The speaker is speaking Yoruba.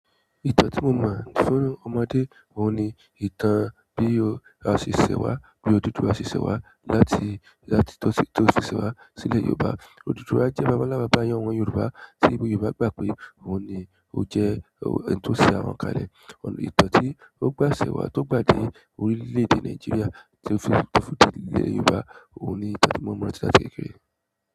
Ìtàn tí mo mọ̀ fún ọmọdé òun ni ìtàn bí o a ṣe ṣẹ̀ wá bí Odùduwà ṣe ṣẹ wá láti láti tó ṣi to si sẹ wá sí ilẹ̀ Yorùbá. Odùduwà jẹ́ baba nlá baba iyẹn àwọn Yorùbá tí Yorùbá gbà pé òun ni ó jẹ́ ẹni tó ṣẹ àwọn kalẹ̀. Ìtàn tí ó gbà ṣẹ̀ wá tó gbà dé orílẹ̀-èdè Nàìjíríà tó fi tó fi dé ilẹ̀ Yorùbá òun ni ìtàn tí mo mọ̀ nípa rẹ̀ kékeré.